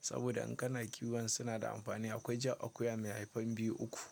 saboda in kana kiwon suna da amfani. Akwai ja, akuya mai haifan biyu, uku.